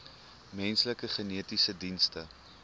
menslike genetiese dienste